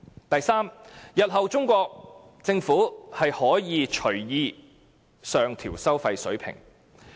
第三，日後中國政府可隨意上調收費水平。